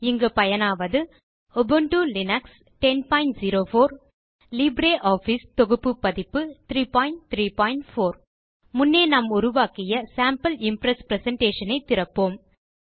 இங்கு பயனாவது Ubuntu Linux 1004 மற்றும் லிப்ரியாஃபிஸ் தொகுப்பு பதிப்பு 334 முன்னே நாம் உருவாக்கிய சேம்பிள் இம்ப்ரெஸ் பிரசன்டேஷன் ஐ திறப்போம்